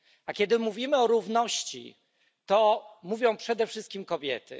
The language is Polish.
A kiedy mówimy o równości, to mówią przede wszystkim kobiety.